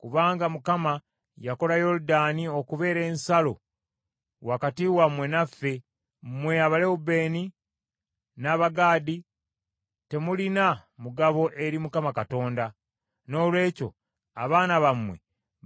Kubanga Mukama yakola Yoludaani okubeera ensalo wakati wammwe naffe mmwe Abalewubeeni, n’Abagaadi, temulina mugabo eri Mukama Katonda.’ Noolwekyo abaana bammwe